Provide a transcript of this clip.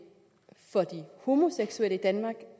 for de homoseksuelle i danmark